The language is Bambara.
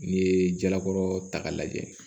N'i ye jalakɔrɔta lajɛ